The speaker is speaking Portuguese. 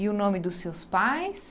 E o nome dos seus pais?